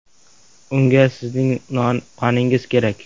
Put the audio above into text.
Unga sizning qoningiz kerak .